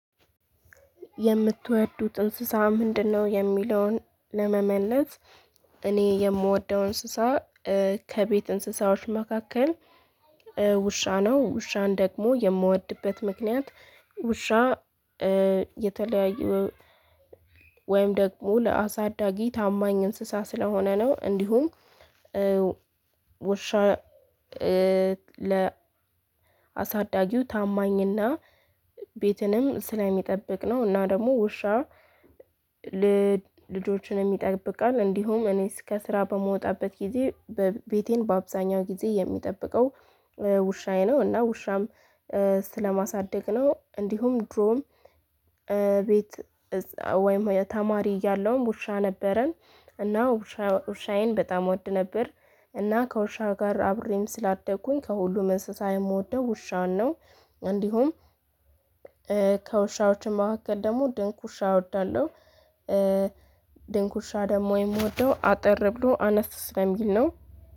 የምትወዱት እንስሳ ምንድነው የሚለውን ለመመለስ እኔ የምወደው እንስሳ ከቤት እንስሳዎች መካከል ውሻ ነው ውሻን ደግሞ የምወድበት ምክንያት ውሻ የተለያየ ወይም ደግሞ ለአሳዳጊ ታማኝ እንስሳ ስለሆነ ነው እንዲሁም ውሻ ለአሳዳጊው ታማኝና ቤትንም ስለሚጠብቅ ነው እና ደግሞ ውሻ ልጆችንም ይጠብቃል እንዲሁም እኔ ከስራ በምወጣበት ጊዜ ቤቴን በአብዛኛው ጊዜ የሚጠብቀው ውሻዬ ነው እና ውሻም ስለማሳድግ ነው እንዲሁም ድሮም ቤት ወይም ተማሪ እያለውም ውሻ ነበረን እና ውሻዬን በጣም እወድ ነበር እና ከውሻ ጋር አብሬም ስላደግኩኝ ከሁሉም እንስሳ የምወደው ውሻን ነው እንዲሁም ከውሻዎች መካከል ደግሞ ድንክ ውሻ እወዳለሁ ድንክ ውሻ ደግሞ የምወደው አጠር ብሎ አነስ ስለሚል ነው።